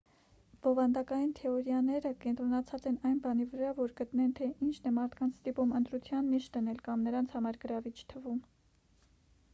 բովանդակային թեորիաները կենտրոնացած են այն բանի վրա որ գտնեն թե ինչն է մարդկանց ստիպում ընտրության նիշ դնել կամ նրանց համար գրավիչ թվում